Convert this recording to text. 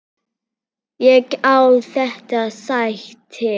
Ég á þetta sæti!